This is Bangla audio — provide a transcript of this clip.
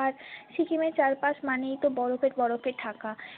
আর সিকিমের চারপাশ মানেই তো বরফে বরফে ঢাকা।